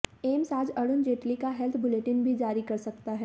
AIIMS आज अरुण जेटली का health bulletin भी जारी कर सकता है